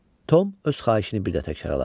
Tom öz xahişini bir də təkrarladı.